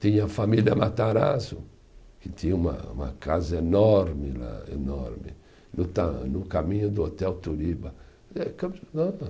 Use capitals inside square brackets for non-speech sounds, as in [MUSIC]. Tinha a família Matarazzo, que tinha uma uma casa enorme lá, enorme, no tá, no caminho do Hotel Turiba. [UNINTELLIGIBLE]